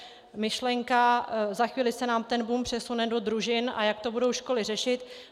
Myšlenka, za chvíli se nám ten boom přesune do družin, a jak to budou školy řešit.